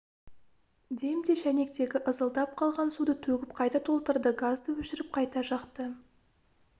демде шайнектегі ызылдап қалған суды төгіп қайта толтырды газды өшіріп қайта жақты